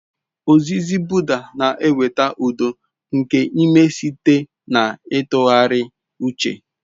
Ozizi Buda na-eweta udo nke ime site na ntụgharị uche.